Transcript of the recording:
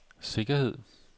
sikkerhed